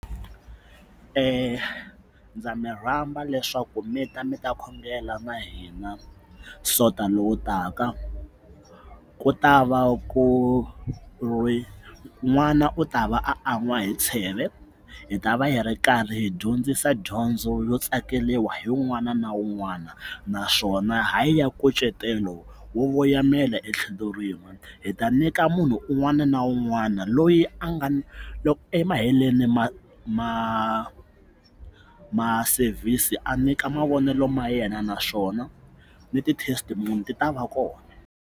ndza mi rhamba leswaku mi ta mi ta khongela na hina sonta lowu taka ku ta va ku ri n'wana u ta va an'wa hi tsheve hi ta va hi ri karhi hi dyondzisa dyondzo yo tsakeriwa hi wun'wana na wun'wana naswona ha yi ya nkucetelo wo voyamela etlhelo rin'we hi ta nyika munhu un'wana na wu n'wana loyi a nga emaheleni ma ma ma sevhisi a nyika mavonelo ma yena naswona ni ti-testimony ti ta va kona.